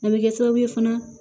A bɛ kɛ sababu ye fana